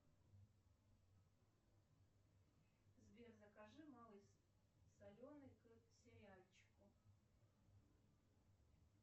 сбер закажи малый соленый к сериальчику